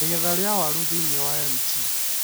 Igetha ri͂a waru thi͂ini͂ wa Mt.